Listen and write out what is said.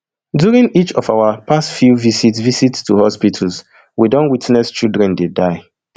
during each of our past few visit visit to hospitals we don witness children dey die